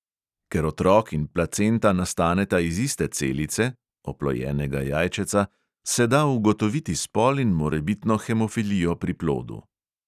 Ker otrok in placenta nastaneta iz iste celice (oplojenega jajčeca), se da ugotoviti spol in morebitno hemofilijo pri plodu.